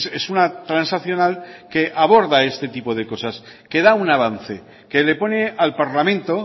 es una transaccional que aborda este tipo de cosas que da un avance que le pone al parlamento